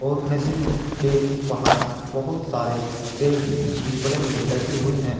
और नदी के बाहर बहुत सारे पेड़ भी बड़े बड़े लगे हुए हैं।